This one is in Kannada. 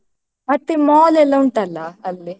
ಮತ್ತೆ mall ಎಲ್ಲಾ ಉಂಟಲ್ಲಾ ಅಲ್ಲಿ?